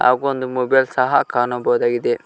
ಹಾಗೂ ಒಂದು ಮೊಬೈಲ್ ಸಹ ಕಾಣಬಹುದಾಗಿದೆ.